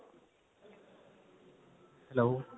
hello